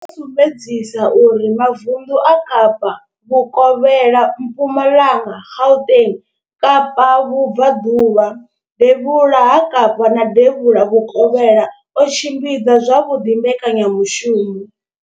wo sumbedzisa uri mavundu a Kapa Vhukovhela, Mpumalanga, Gauteng, Kapa Vhubva ḓuvha, Devhula ha Kapa na Devhula Vhukovhela o tshimbidza zwavhuḓi mbekanyamushumo